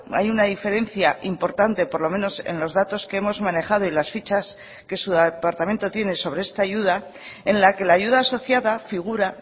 hay una diferencia importante por lo menos en los datos que hemos manejado y las fichas que su departamento tiene sobre esta ayuda en la que la ayuda asociada figura